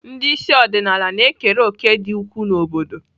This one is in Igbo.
Ndị isi ọdịnala na-ekere òkè dị ukwuu na obodo.